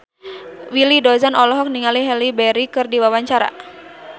Willy Dozan olohok ningali Halle Berry keur diwawancara